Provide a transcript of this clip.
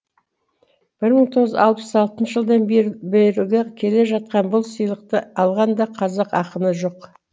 бір мың тоғыз жүз алпыс алтыншы жылдан беріліп келе жатқан бұл сыйлықты алған да қазақ ақыны жоқ